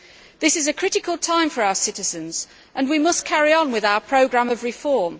This is a critical time for our citizens and we must carry on with our programme of reform.